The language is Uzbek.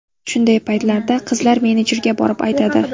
Shunday paytlarda qizlar menejerga borib aytadi.